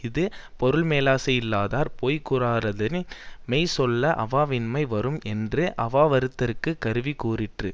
இது பொருள்மேலாசையில்லாதார் பொய் கூறாராதலின் மெய் சொல்ல அவாவின்மை வரும் என்று அவாவறுத்தற்குக் கருவி கூறிற்று